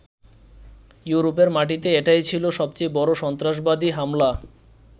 ইউরোপের মাটিতে এটাই ছিল সবচেয়ে বড় সন্ত্রাসবাদী হামলা।